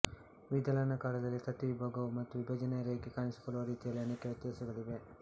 ವಿದಳನ ಕಾಲದಲ್ಲಿ ತತ್ತಿ ವಿಭಾಗವಾಗುವ ಮತ್ತು ವಿಭಜನೆಯ ರೇಖೆ ಕಾಣಿಸಿಕೊಳ್ಳುವ ರೀತಿಯಲ್ಲಿ ಅನೇಕ ವ್ಯತ್ಯಾಸಗಳಿವೆ